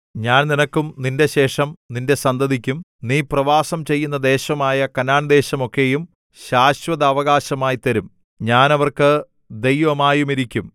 ഞാൻ നിനക്കും നിന്റെ ശേഷം നിന്റെ സന്തതിക്കും നീ പ്രവാസം ചെയ്യുന്ന ദേശമായ കനാൻദേശം ഒക്കെയും ശാശ്വതാവകാശമായി തരും ഞാൻ അവർക്ക് ദൈവമായുമിരിക്കും